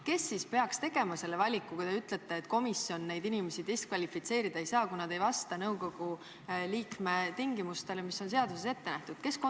Kes peaks tegema selle valiku, kui te ütlete, et komisjon neid inimesi diskvalifitseerida ei saa, kui nad ei vasta nõukogu liikme tingimustele, mis on seaduses ette nähtud?